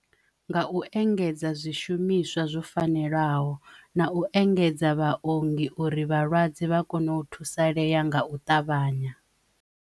Nga u engedza zwishumiswa zwo fanelaho na u engedza vhuongi uri vhalwadze vha kone u thusalea nga u ṱavhanya.